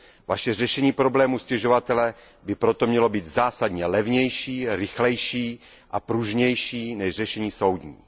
Vaše řešení problému stěžovatele by proto mělo být zásadně levnější, rychlejší a pružnější než řešení soudní.